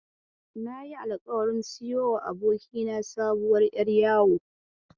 Nayi alƙawarin siyo wa abokina sabuwar ƴar yawo.